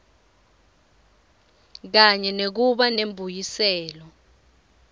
kanye nekuba nembuyiselo